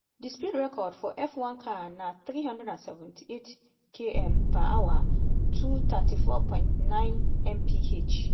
di speed record for f1 car na 378km/h (234.9mph).